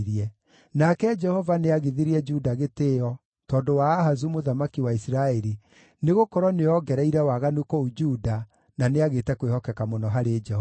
Nake Jehova nĩagithirie Juda gĩtĩĩo tondũ wa Ahazu mũthamaki wa Isiraeli, nĩgũkorwo nĩoongereire waganu kũu Juda, na nĩagĩte kwĩhokeka mũno harĩ Jehova.